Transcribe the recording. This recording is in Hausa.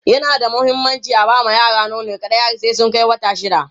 yana da muhimmanci aba ma yara nono kaɗai har sai sun Kai wata shida